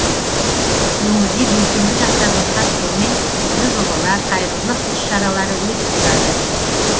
өңірде белсенді жастардың қатысуымен түрлі жобалар қайырымдылық іс шаралары өтіп тұрады